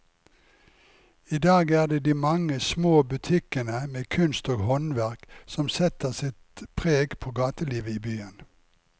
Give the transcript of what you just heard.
I dag er det de mange små butikkene med kunst og håndverk som setter sitt preg på gatelivet i byen.